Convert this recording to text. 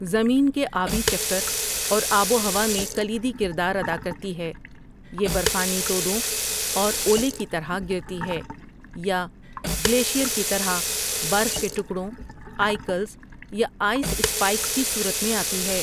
زمین کے آبی چکر اور آب و ہوا میں کلیدی کردار ادا کرتی ہے یہ برفانی تودوں اور اولے کی طرح گرتی ہے یا گلیشیر کی طرح برف کے ٹکڑوں ، آئیکلز یا آئس سپائیکس کی صورت میں آتی ہے۔